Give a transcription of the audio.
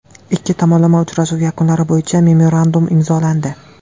Ikki tomonlama uchrashuv yakunlari bo‘yicha memorandum imzolandi.